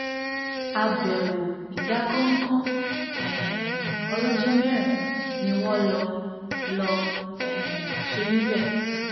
àbẹwò ìdákọńkọ um ọlọjọ mẹrin ni wọn lọ lọọ um ṣe níbẹ